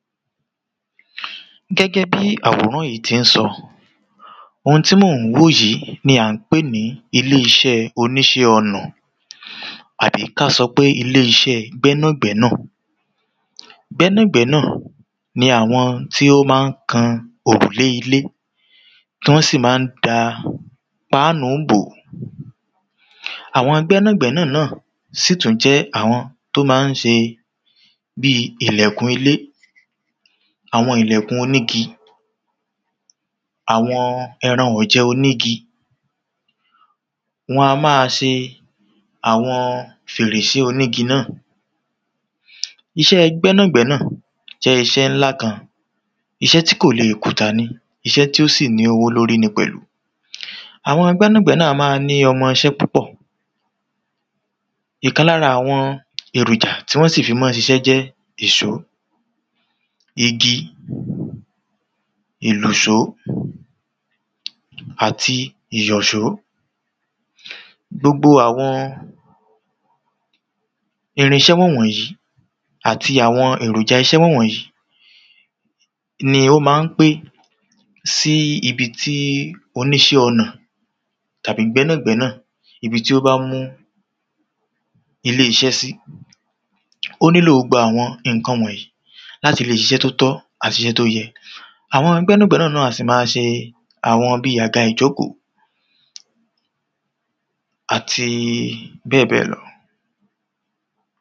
Gẹ́gẹ́ bí àwòrán yí ti ń sọ, ohun tí mò ń wò yí ni à ń pè ní ilé iṣẹ́ oníṣẹ́ ọnà. Àbí ká sọ pé ilé iṣẹ́ gbẹ́nàgbẹ́nà. Gbẹ́nàgbẹ́nà ni àwọn tí ó má ń kan òrùlé ilé Tí wọ́n sì má ń da pánú bó. Àwọn gbẹ́nàgbẹ́nà náà sì tún jẹ́ àwọn tó má ń ṣe bíi ìlẹ̀kùn ilé, àwọn ìlẹ̀kùn onígi. Àwọn ẹran ọ̀jẹ onígi. Wọn a má a ṣe àwọn fèrèsé onígi náà. Iṣẹ́ gbẹ́nàgbẹ́nà jẹ́ iṣẹ́ ńlá kan. Iṣẹ́ tí kò leè kùtà ni. Iṣẹ́ tí ó sì ní owó lórí ni pẹ̀lú. Àwọn gbẹ́nàgbẹ́nà a má a ní ọmọṣẹ́ púpọ̀ Ìkan lára àwọn èròjà tí wọ́n sì fí má nm ṣiṣẹ́ jẹ́ èsó. Igi ìlùsó. Àti ìyọ̀só. Gbogbo àwọn irinṣẹ́ wọ̀nwọ̀nyí àti àwọn èròjà iṣẹ́ wọ̀nwọ̀yí ni ó ma ń pé sí ibi tí oníṣẹ́ ọnà tàbí gbẹ́nàgbẹ́nà ibi tí ó bá mú ilé sí. Ó nílò gbogbo àwọn ǹkan wọ̀nyí. Láti lè ṣiṣẹ́ tó tọ́ àti iṣẹ́ tó yẹ. Àwọn gbẹ́nàgbẹ́nà náà a sì ma ṣe àwọn bíi àga ìjókó. Àti bẹ́ẹ̀ bẹ́ẹ̀ lọ.